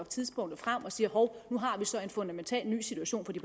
tidspunkt og siger hov nu har vi så en fundamental ny situation for det